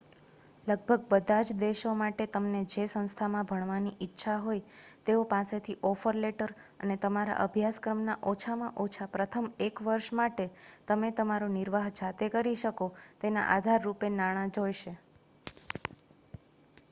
લગભગ બધા જ દેશો માટે તમને જે સંસ્થામાં ભણવાની ઈચ્છા હોય તેઓ પાસેથી ઓફર લેટર અને તમારા અભ્યાસક્રમ ના ઓછામાં ઓછા પ્રથમ એક વર્ષ માટે તમે તમારો નિર્વાહ જાતે કરી શકો તેના આધારરૂપે નાણાં જોઈશે